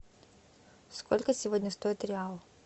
сколько сегодня стоит реал